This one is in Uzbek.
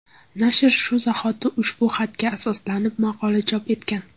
Nashr shu zahoti ushbu xatga asoslanib maqola chop etgan.